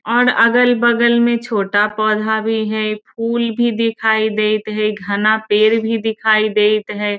और अगल-बगल में छोटा पौधा भी हई। फूल भी दिखाई देईत हई घना पेड़ भी दिखाई देईत हई।